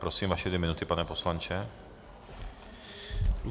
Prosím, vaše dvě minuty, pane poslanče.